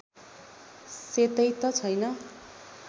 सेतै त छैन